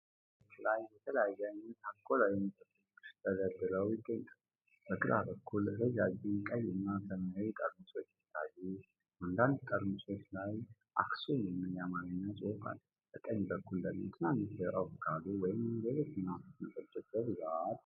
በመደርደሪያዎች ላይ የተለያየ ዓይነት አልኮሆላዊ መጠጦች ተደርድረው ይገኛሉ። በግራ በኩል ረዣዥም ቀይ እና ሰማያዊ ወይን ጠርሙሶች ሲታዩ፣ አንዳንድ ጠርሙሶች ላይ 'አክሱም' የሚል የአማርኛ ጽሑፍ አለ። በቀኝ በኩል ደግሞ ትናንሽ የቮድካ ወይም ሌሎች መናፍስት መጠጦች በብዛት ይገኛሉ።